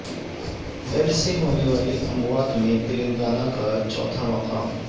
ads سے ہونے والی اموات میں تلنگانہ کا چوتھا مقام